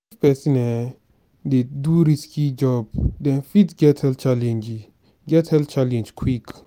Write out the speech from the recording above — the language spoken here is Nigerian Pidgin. if person um dey do risky job dem fit get health challenge get health challenge quick